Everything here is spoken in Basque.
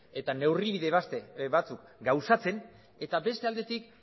eta neurri batzuk gauzatzen eta beste aldetik